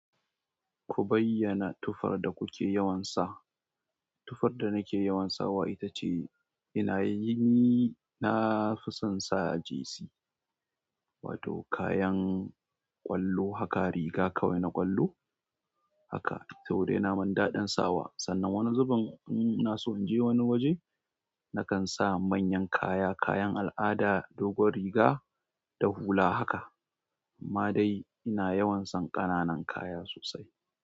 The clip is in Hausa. Ku bayyana tufar da kuke yawan sa. Tufar da nake yawansa wa ita ce ina yi, ni nafi son sa jesi, wato, kayan ƙwallo haka; riga kawai na ƙwallo haka. Saboda ina min daɗin sawa sannan wani zuben ina so in je wani waje nakan sa manyan kaya, kayan al'ada, dogon riga da hula haka. Amma dai ina yawan son ƙananan kaya sosai.